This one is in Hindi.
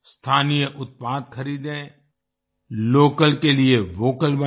स्थानीय उत्पाद खरीदें लोकल के लिए वोकल बनें